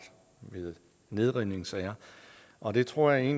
i nedrivningssager og det tror jeg